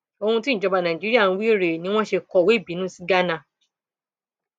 ohun tíjọba nàìjíríà ń wí rèé ni wọn ṣe kọwé ìbínú sí ghana